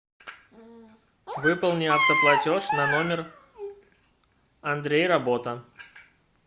выполни автоплатеж на номер андрей работа